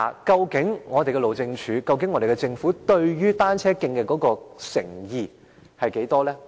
究竟路政署和政府對改善單車徑的誠意有多少？